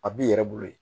A b'i yɛrɛ bolo ye